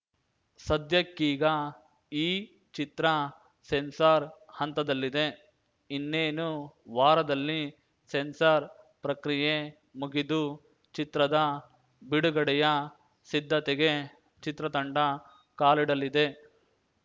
ಸದ್ಯಕ್ಕೀಗ ಈ ಚಿತ್ರ ಸೆನ್ಸಾರ್‌ ಹಂತದಲ್ಲಿದೆ ಇನ್ನೇನು ವಾರದಲ್ಲಿ ಸೆನ್ಸಾರ್‌ ಪ್ರಕ್ರಿಯೆ ಮುಗಿದು ಚಿತ್ರದ ಬಿಡುಗಡೆಯ ಸಿದ್ಧತೆಗೆ ಚಿತ್ರತಂಡ ಕಾಲಿಡಲಿದೆ